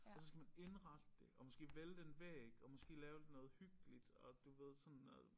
Og så skal man indrette det og måske vælte en væg og måske lave noget hyggeligt og du ved sådan noget